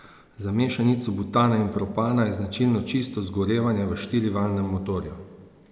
Za mešanico butana in propana je značilno čisto zgorevanje v štirivaljnem motorju.